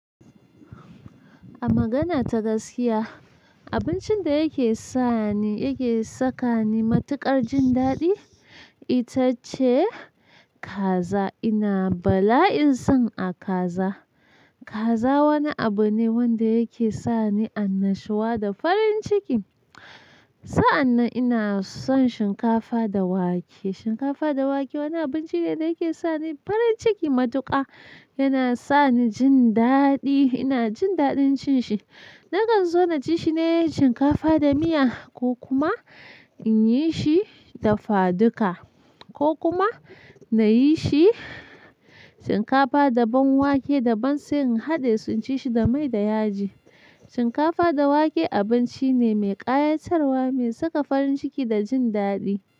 A magana ta gaskiya, abincin da yake sa ni, yake saka ni matukar jin daɗi, ita ce kaza. Ina bala'in son a kaza. Kaza wani abu ne wanda yake sa ni annashuwa da farin ciki. Sa'an nan ina son shinkafa da wake. Shinkafa da wake wani abinci ne da yake sa ni farin ciki matuƙa. Yana sa ni jin daɗi, ina jin daɗin cin shi. Nakan so na ci shi ne shinkafa da miya ko kuma in yi shi dafaduka ko kuma na yi shi shinkafa da ban wake da ban sai in haɗe, in ci shi da mai da yaji. Shinkafa da wake abinci ne mai ƙayatarwa, mai saka farin ciki da jin daɗi.